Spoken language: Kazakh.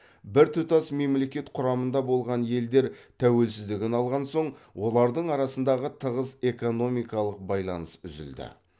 біртұтас мемлекет құрамында болған елдер тәуелсіздігін алған соң олардың арасындағы тығыз экономикалық байланыс үзілді